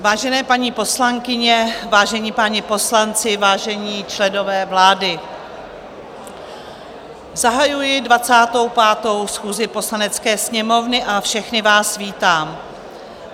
Vážené paní poslankyně, vážení páni poslanci, vážení členové vlády, zahajuji 25. schůzi Poslanecké sněmovny a všechny vás vítám.